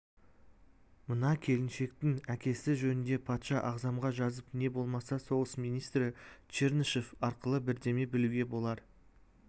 мына келіншектің әкесі жөнінде патша ағзамға жазып не болмаса соғыс министрі чернышев арқылы бірдеме білуге болар